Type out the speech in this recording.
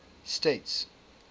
states